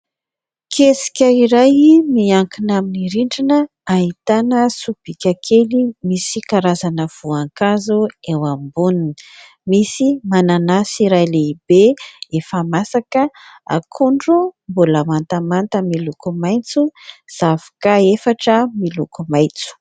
Kesika iray miankina amin'ny rindrina ahitana sobika kely misy karazana voankazo eo amboniny, misy mananasy iray lehibe efa masaka, akondro mbola mantamanta miloko maitso, zavoka efatra miloko maitso.